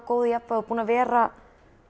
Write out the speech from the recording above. góðu jafnvægi búin að vera